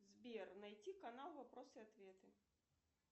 сбер найти канал вопросы и ответы